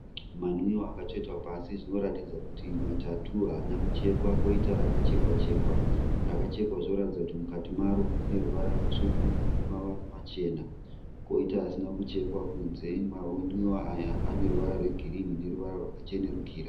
Manwiwa akatsvetwa pasi. Zvinoratidza kuti matatu haana kuchekwa. Koita rakachekwa chekwa. Rakachekwa rinotaridza kuti mukati maro mune ruvara rutsvuku nemavara machena. Koita asina kuchekwa kunze. Manwiwa aya ane ruvara rwegirini neruvara rwakachenerukira.